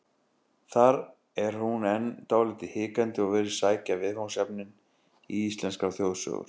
Þar er hún enn dálítið hikandi og virðist sækja viðfangsefnin í íslenskar þjóðsögur.